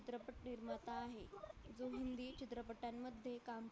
जो हिंदी चित्रपटांमध्ये काम करतो